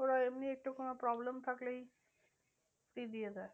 ওরা এমনি একটু কোনো problem থাকলেই দিয়ে দেয়।